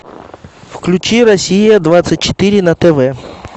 включи россия двадцать четыре на тв